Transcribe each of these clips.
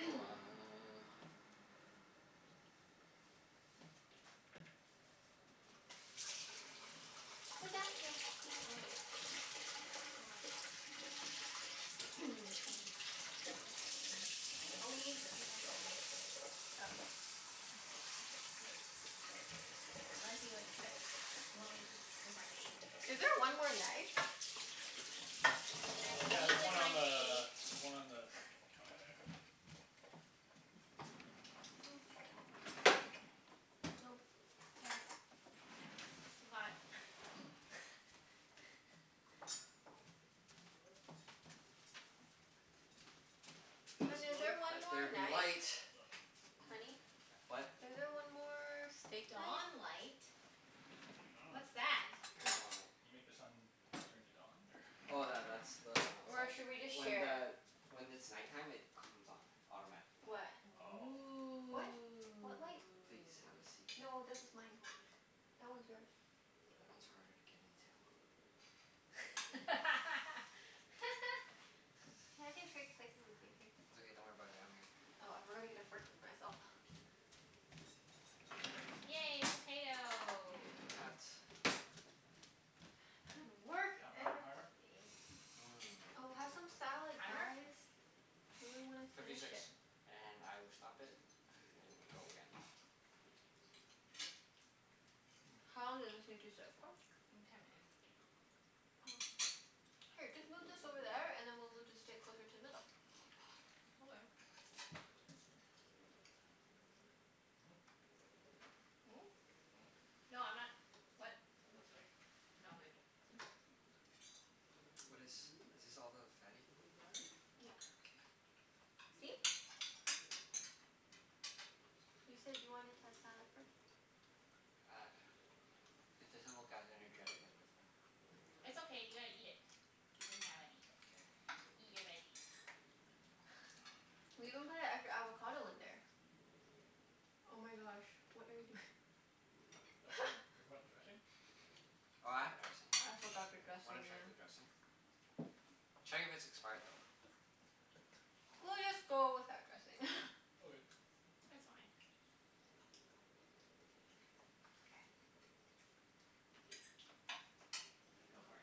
So uh Sit down, yeah. Oh eh. Where am I sitting? Mm. Mm. Mm. Mm. Oh, Mm. we need utensils. Oh, yeah. Oh, yes. Unless you expect, you want me to eat with my face. Is there one more knife? I Uh, can yeah, eat there's with one my on face. the, there's one on the counter there. Nope. Can't. Too hot. Is this Hun, is there one Let more there be light. knife? Oh. Honey? What? Is there one more steak Dawn knife? light. I dunno. What's that? What dawn light? You make the sun turn to dawn, or Oh tha- that's the one Or outside. should we just When share? the, when it's night time, it comes on. Automatically. What? Oh. What? What light? Please, have a Ooh. seat. No, this is mine. That one's yours. That one's harder to get into. Hey, I can trade places with you. Here. It's okay. Don't worry about it. I'm here. Oh, I forgot to get a fork for myself. Yay, potato. Potat. Good work, Half an hour everybo- timer? ee. Oh, Mmm. have some salad Timer? guys. We really wanna Fifty finish six. it. And I will stop it and go again. How long did this need to sit for? Mm, ten minutes. Oh. Here, just move this over there, and then we'll move the steak closer to the middle. Okay. Hmm? Mm? Hmm. No, I'm not, what? More steak? No, I'm good. Oh. What is, is this all the fatty? Yep. K. See? You said you wanted to have salad first. Uh, it doesn't look as energetic as before. It's okay, you gotta eat it. You didn't have any. K. Eat your veggies. We even put an extra avocado in there. Oh my gosh, what are you doing? forgot dressing? Oh, I have dressing. I forgot the W- wanna dressing, check the yeah. dressing? Check if it's expired though. We'll just go without dressing. Okay. It's fine. Go for it.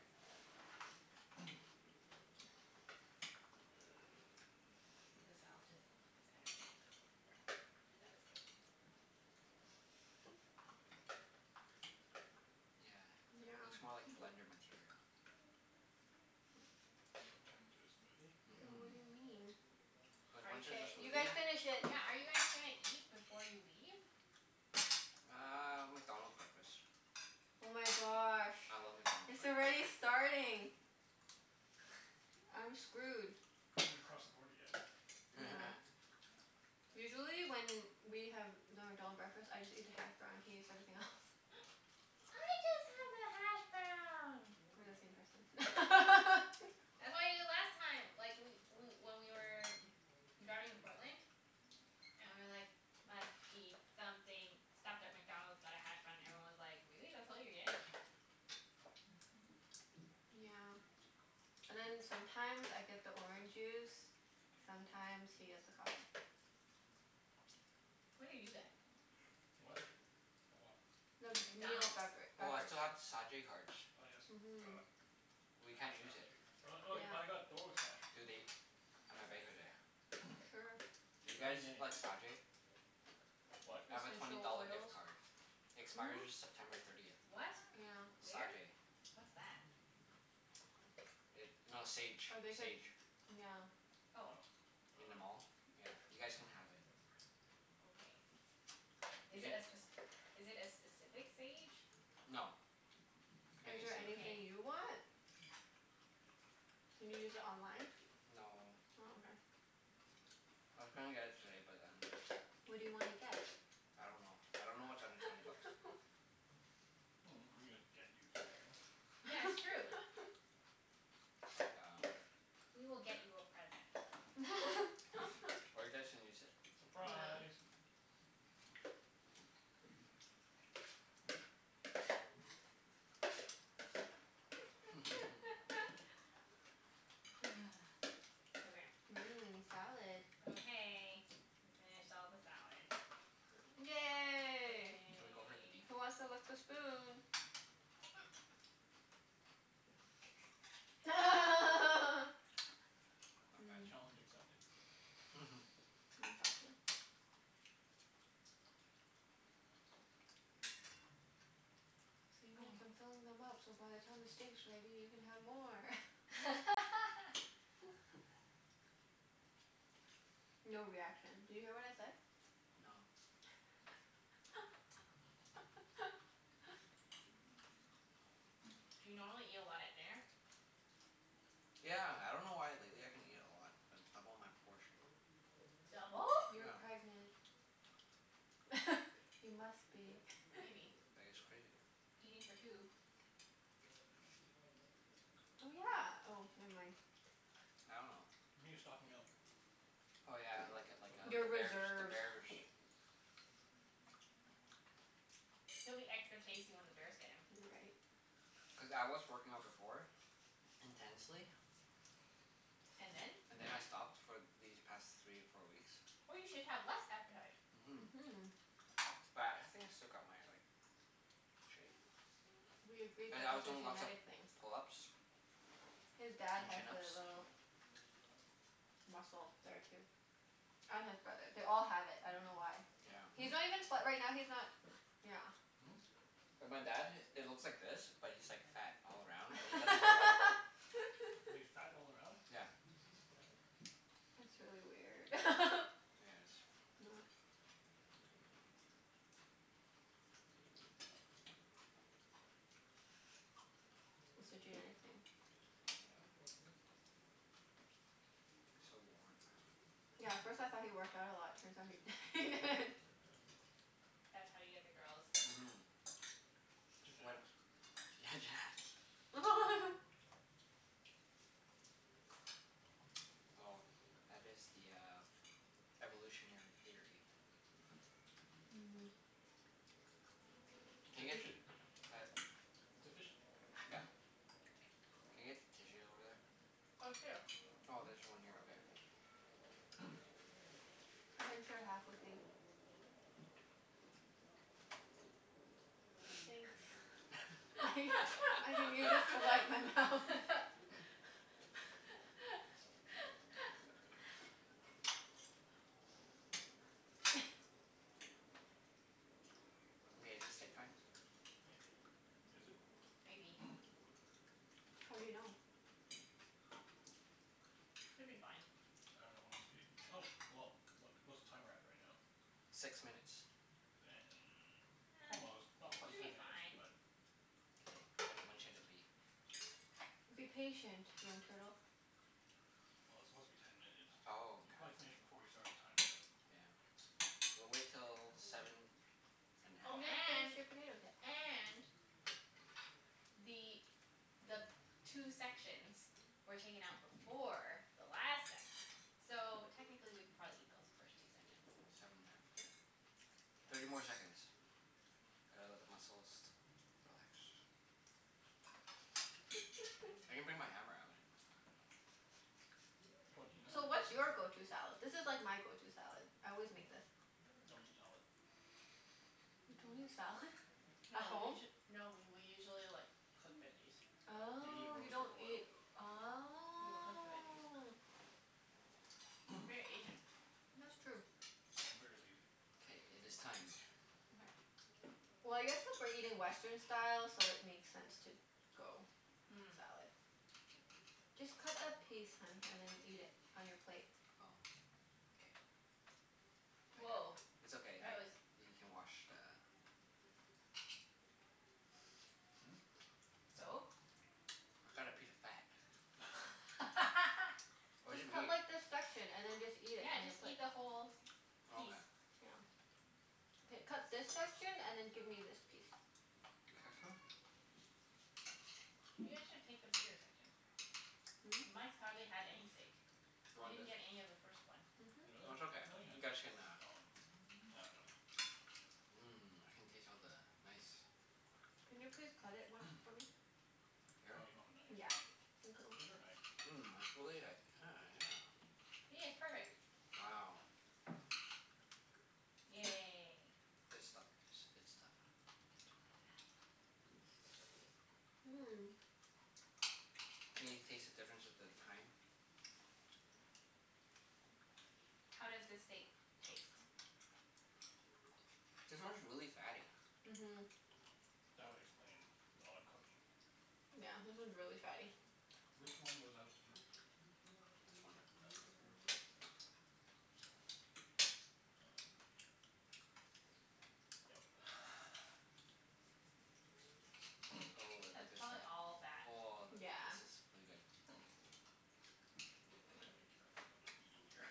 The salad doesn't look as energetic as before. That was good. Yeah, Yeah. looks more like blender material. You gonna turn it into Mhm. And what a do you mean? smoothie? Cuz Are once it's y- K, a you guys smoothie finish yeah, it. yeah, are you guys gonna eat before you leave? Uh, McDonald's breakfast. Oh my gosh. I love McDonald's It's already breakfasts. starting. I'm screwed. You haven't even crossed the border yet. Yeah. Usually when we have the McDonald breakfast, I just eat the hash brown. He eats everything else. I just have the hashbrown. We're the same person. I had them the last time like, we we when we were driving to Portland. And we were like, "Must eat something." Stopped at McDonald's, got a hash brown, and everyone was like, "Really? That's all you're getting?" Yeah. And then sometimes I get the orange juice. Mhm. Sometimes he gets the coffee. What do you get? What? For what? The meal McDonald's. bevera- Oh, I beverage. still have the Sa-jay cards. Oh yes, Mhm. god. We A can't hash use brown it. too. Oh oh, I Yeah. got hash Do they browns. That's right. Sure. Do you get guys anything. like Sa-jay? What? I have a twenty Essential dollar oils. gift card. It expires Who? September thirtieth. What? Yeah. Where? Sa-jay. What's that? It, no, Sage. Or they could, Sage. yeah. Oh. Oh. I In the dunno. mall. Yeah, you guys can have it. Okay. You Is it a get spec- is it a specific Sage? no, any Is there Sage. anything you want? Can you use it online? No. Oh, I was gonna get it today, but then okay. What do you wanna Okay. get? I don't know. I don't know what's under twenty bucks. Mm, we could just get you something. Yeah, it's true. That's like um We will get you a present. Or you guys can use it. Yeah. Surprise! Okay. Mmm, salad. Okay. We finished all the salad. Yay. Can we go for the beef? Yay. Who wants to lick the spoon? Not bad. Challenge accepted. Mmm. Exactly. See Mike? I'm filling them up so by the time the steak's ready you can have more. No reaction. Did you hear what I said? No. Do you normally eat a lot at dinner? Yeah. I dunno why but lately I can eat a lot. I double my portion. Double? You're pregnant. Yeah. You must be. Maybe. I guess. Crazy. Eating for two. Oh, yeah. Oh, never mind. I dunno. Maybe you're stocking up? Oh yeah, like a like For a, the Your the birth bears. The reserves. bears. He'll be extra tasty when the bears get him. You're right. Cuz I was working out before. Intensely. And then? And then I stopped for these past three or four weeks. Oh, you should have less appetite. Mhm. But I think I still got my like, shape. Mhm. We agreed But that I was that's a doing lots of genetic thing. pull-ups His dad and has chin-ups. the little Hmm? muscle there too. And his brother. They all have it. I dunno why. Yeah. He's not even fa- right now, he's not Yeah. Hmm? And my dad, it looks like this but he's like fat all around and he doesn't work out. He's fat all around? Yeah. It's really weird. Yeah, it Not is. It's a genetic thing. Yeah. So warm. Yeah, at first I thought he worked out a lot. Turns out he he didn't. That's how you get the girls. Mhm. When, yeah, genetics. Genetics. Well, that is the uh, evolutionary theory. Mm. It's Can I get, efficient. uh, It's efficient. yeah, can I get tissues over Oh, here. there? Oh, there's one here. Okay. Hmm? I can share half with you. Thanks. I can use this to wipe my mouth. Okay, is it steak time? Maybe. Is it? Maybe. How do you know? Should be fine. I dunno when we stayed, oh, well, what what's the timer at right now? Six minutes. Then almost, not Almost? Should quite be ten minutes, fine. but Well, K, when when should it be? Be patient, young turtle. it's supposed to be ten minutes. Oh, You probably finished before we started the timer okay. though. Yeah. We'll wait till seven and a Oh You half. didn't and finish your potatoes yet. and the the two sections were taken out before the last section. So, technically we could probably eat those first two sections. Seven and a half, yeah. Thirty more seconds. Gotta let the muscles relax. Twenty I can nine. bring my hammer out and you know So, what's your go- to Don't salad? This is like my go- to salad. I always eat make this. salad. You don't eat salad? No At we home? usu- no we we usually like cook veggies. Usually Oh, you roast or don't boil. eat, We will cook the veggies. oh We're very Asian. That's true. I'm very lazy. K, it is time. Okay. Well, I guess cuz we're eating Western style, so it makes sense to go salad. Just cut a piece, hun, Mm. and then eat it on your plate. Oh. K. I cut, Woah, it's that okay. I, was you can wash the Hmm? What? So? I got a piece of fat. Where's Just the cut meat? like this section, and then just eat it Yeah, on your just plate. eat the whole Okay. piece. Yeah. K, cut this section and then give me this piece. This section? You guys should take the bigger section. Really? Hmm? Mike's hardly had any steak. You He want didn't this? get any of the first one. That's okay. No, he You had guys some. I can uh dunno. Mhm. Mmm. I can taste all the nice Can you please cut it once for me? Here? Oh, you don't have a knife. Yeah. Thank you. Get her a knife. Mmm, it's really like, yeah, yeah. See? It's perfect. Wow. Yay. Good stuff guys. Good stuff. It's really fatty. Mmm. Can you taste the difference with the thyme? How does this steak taste? This one's really fatty. Mhm. That would explain the odd cooking. Yeah, this one's really fatty. Which one was out first? This one. That was out first? Um, yep. Oh, of the That's good probably stuff. all fat. Oh, Yeah. this is really good. Gonna have to be careful of what I'm eating here.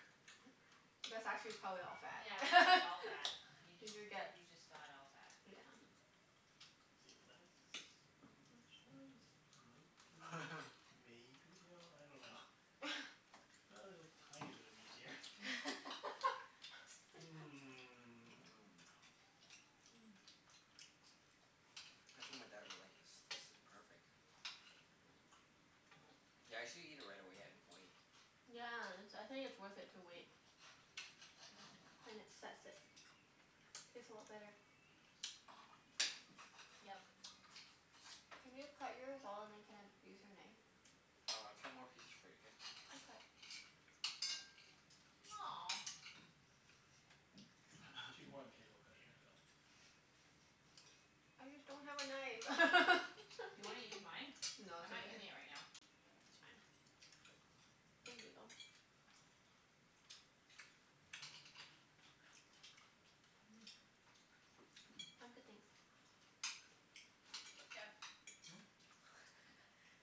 That's actually probably all Yeah, that's probably fat. all fat. You Did just, you get, you just got all fat. yeah. See, that's pretty much, ah this might be, maybe, no, I dunno. A little tiny bit of meat here. Mmm. Mmm. Mm. I think my dad would like this. This is perfect. Yeah, I usually eat it right away. I didn't wait. Yeah, it's, I think it's worth it to wait. Mhm. Then it sets it. Tastes a lot better. Yep. Can you cut yours all and then can I use your knife? Oh, I'll cut more pieces for you, k? Aw. She's more than capable of cutting it herself. Okay. I just don't have a knife. Do you wanna use mine? No, I'm it's not okay. using it It's right now. fine. Thank you, though. Mmm. Hmm? I'm good, thanks. Jeff.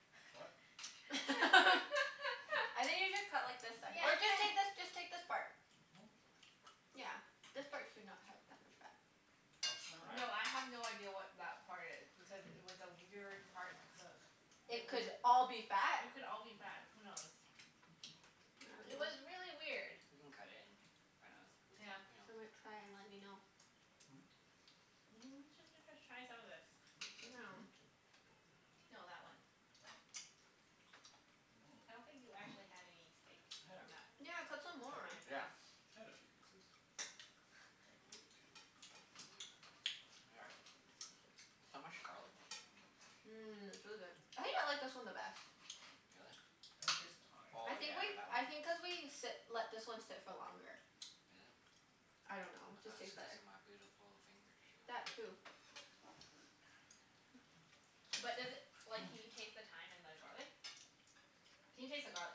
I What? think you should cut like the se- or just take this, just take this part. Yeah. Yeah. This part should not have that much fat. Nice try. No, I have no idea what that part is. Because it was a weird part to cook. Hmm? It It would could all be fat. It could all be I fat. Who knows? It was really weird. We can cut it and find Yeah. out dunno. Some might Hmm? try and let me know. N- j- j- just try some of the, this. you know Hmm? Now. No, that one. Oh. I I dunno. don't think you actually had any steak I had a from that. coup- Yeah, cut some more. piece. Yeah. I had a few pieces. Like maybe two. We got it. There's so much garlic taste. Hmm. Mmm, it's really Really? good. I think I like this one the best. I don't taste the thyme. Oh I think yeah, like, that I one. Is it? I think cuz thought it we sit, let this one sit for longer. I don't know. Just tastes was cuz better. of my beautiful fingers. That too. But does it, like, can you taste the thyme and the garlic? Can you taste the garlic?